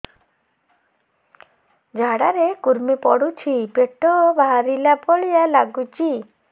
ଝାଡା ରେ କୁର୍ମି ପଡୁଛି ପେଟ ବାହାରିଲା ଭଳିଆ ଲାଗୁଚି